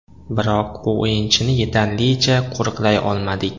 Biroq bu o‘yinchini yetarlicha qo‘riqlay olmadik.